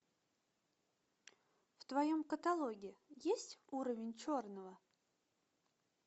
в твоем каталоге есть уровень черного